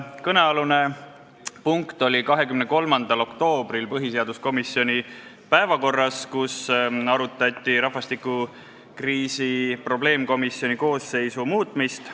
Kõnealune punkt oli 23. oktoobril põhiseaduskomisjoni päevakorras, kui arutati rahvastikukriisi probleemkomisjoni koosseisu muutmist.